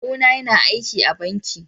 Kawu na yana aiki a banking.